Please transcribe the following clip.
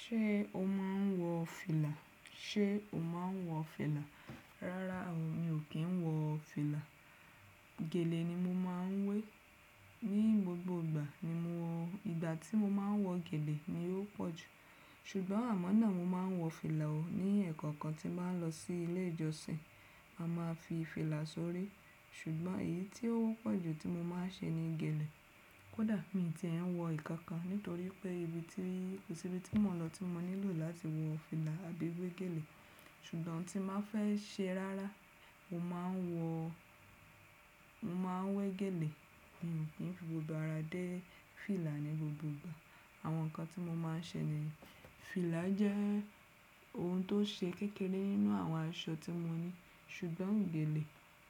Ṣé o máa ń wọ fìlà? Ṣé o máa ń wọ fìlà? Rárá o, mi ò kí ń wọ fìlà. Gèlè ni mo máa ń wé. Ni gbogbo ìgbà ni mo, ìgbà tí mo máa ń wọ gèlè ni ó pọ̀ jù. Ṣùgbọ́n àmọ́ náà mo máa ń wọ fìlà o, ní ẹ̀ẹ̀kan kan tí màá ń lọ sí ilé ìjọsìn, a máa fi fìlà sórí. Ṣùgbọ́n èyí tí ó wọ́pọ̀ jù tí mo máa ń ṣe ni gèlè. Kódà mi ti ń wọ ìkankan nítorí pé ibi tí, kò sí ibi tí mò ń lọ tí mo nílò láti wọ fìlà àbí wé gèlè. Ṣùgbọ́n tí màá fẹ́ ṣe rárá, mo máa ń wọ, mo máa ń wé gèlè. Mi ò kí ń fi gbogbo ara dé fìlà ní gbogbo ìgbà. Àwọn nǹkan tí mo máa ń ṣe nìyẹn. Fìlà jẹ́ ohun tó ṣe kékeré nínú àwọn aṣọ tí mo ní. Ṣùgbọ́n gèlè